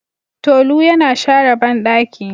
Tolu yana share bandaki.